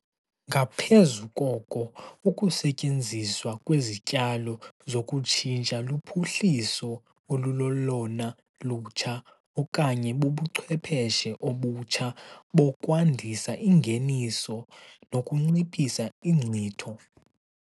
Ngaphezu koko, ukusetyenziswa kwezityalo zokutshintsha luphuhliso olulolona lutsha okanye bubuchwepheshe obutsha bokwandisa ingeniso nokunciphisa iinkcitho.